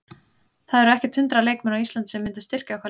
Það eru ekkert hundrað leikmenn á Íslandi sem myndu styrkja okkar lið.